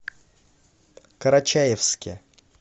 карачаевске